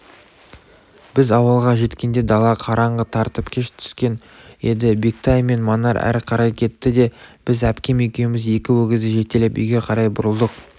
біз ауылға жеткенде дала қараңғы тартып кеш түскен еді бектай мен манар әрі қарай кетті де біз әпкем екеуміз екі өгізді жетелеп үйге қарай бұрылдық